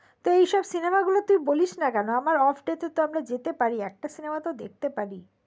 তো এই সব সিনেমা গুলোতো তুই বলিসনা কেন আমার offday তেতো আমরা যেতে পারি একটা সিনেমাতো দেখতে পারি